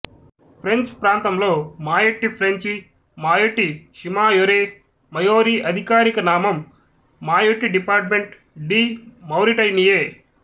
French ప్రాంతంలో Mayotte French Mayotte షిమాయొరె మయోరి అధికారిక నామం మాయొట్టి డిపార్టమెంట్ డి మౌరిటనియే